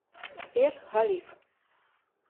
сбер халиф